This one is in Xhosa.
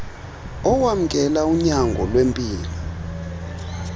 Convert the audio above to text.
owamkela unyango lwempilo